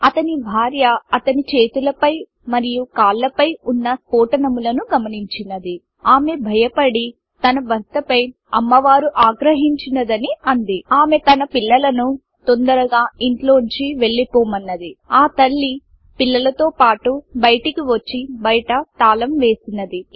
అతని భార్య అనిత అతని చేతుల పై మరియు కాళ్ళ పై వున్న స్ఫోటనము లను గమనించిoది ఆమె భయపడి తన భర్త పై అమ్మవారు ఆగ్రహించిoదని అంది ఆమె తన పిల్లలను తొందరగా ఇంట్లోంచి వేల్లిపోమoది ఆ తల్లి పిల్లలతో పాటు బయటికి వచ్చి బయట తాళం వేసిoది